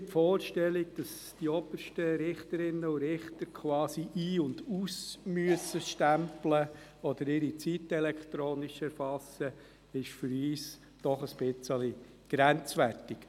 Die Vorstellung, dass die obersten Richter quasi ein- und ausstempeln oder ihre Zeit elektronisch erfassen müssen, ist für uns doch etwas grenzwertig.